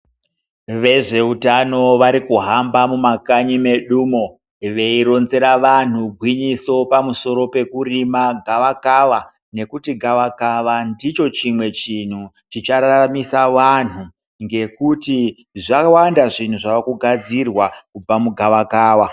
Vezveutano vari kuhamba mumakanyi medumo veironzera vanhu gwinyiso pamusoro pekurima gavakava, nekuti gavakava ndicho chimwe chinhu chichararamisa vanhu ngekuti zvawanda zvinhu zvave kugadzirwa kubva mugavakava.